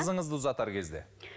қызыңызды ұзатар кезде